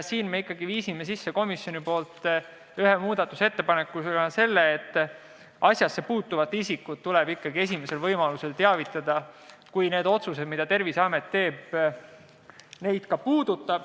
Sellega seoses viisime komisjoni nimel ühe muudatusettepanekuna sisse selle, et asjasse puutuvaid isikuid tuleb esimesel võimalusel teavitada, kui otsused, mida Terviseamet teeb, puudutavad ka neid.